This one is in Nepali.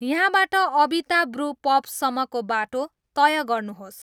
यहाँबाट अबिता ब्रू पब सम्मको बाटो तय गर्नुहोस्